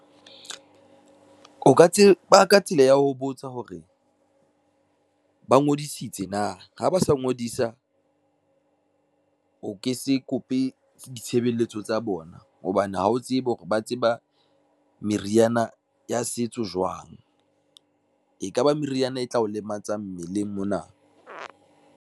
O ka tseba ka tsela ya ho botsa hore, ba ngodisitse na ha ba sa ngodisa, o ke se kope ke ditshebeletso tsa bona hobane ha o tsebe hore ba tseba meriana ya setso jwang. Ekaba meriana e tla o lematsa mmeleng mona.